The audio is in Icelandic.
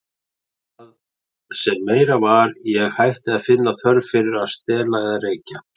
Og það sem meira var, ég hætti að finna þörf fyrir að stela eða reykja.